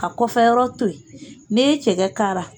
Ka kɔfɛ yɔrɔ to yen ne ye cɛgɛ kara